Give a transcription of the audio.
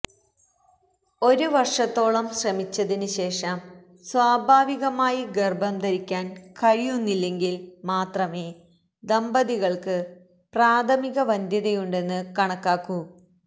ഒരു വര്ഷത്തോളം ശ്രമിച്ചതിന് ശേഷം സ്വാഭാവികമായി ഗര്ഭം ധരിക്കാന് കഴിയുന്നില്ലെങ്കില് മാത്രമേ ദമ്പതികള്ക്ക് പ്രാഥമിക വന്ധ്യതയുണ്ടെന്ന് കണക്കാക്കൂ